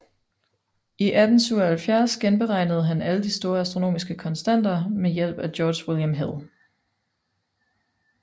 I 1877 genberegnede han alle de store astronomiske konstanter med hjælp fra George William Hill